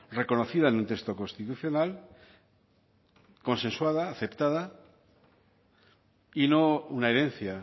reconocida en un texto constitucional consensuada aceptada y no una herencia